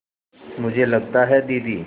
मुझे लगता है दीदी